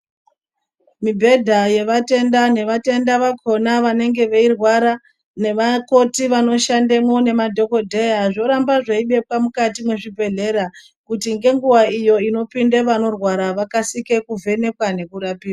Mibhedha yevatenda nevatenda vakona vanenge veirwara nevakoti vanoshandemwo nemadhokodheya zvoramba zveidikwa mukati mezvibhedhlera kuti ngenguva iyo inopinde vanorwara vakasike kuvhenekwa nekurapiwa.